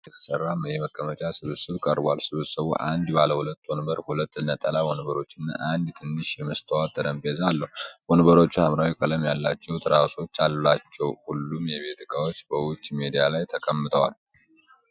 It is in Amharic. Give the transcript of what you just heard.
ከቀርከሃ እንጨት የተሰራ የመቀመጫ ስብስብ ቀርቧል። ስብስቡ አንድ ባለሁለት ወንበር፣ ሁለት ነጠላ ወንበሮችና አንድ ትንሽ የመስታወት ጠረጴዛ አለው። ወንበሮቹ ሐምራዊ ቀለም ያላቸው ትራሶች አላቸው። ሁሉም የቤት እቃዎች በውጭ ሜዳ ላይ ተቀምጠዋል።